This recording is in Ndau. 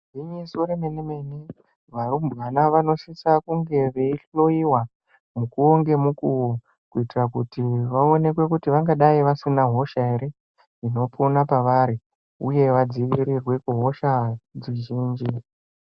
Gwinyiso remene mene varumbwana vanosisa kunge veyihloyiwa mukuwo ngemukuwo uye kuoneka kuti havana hosha here inopona pavari uye vadzivirirwe kuhosha dzizhinji.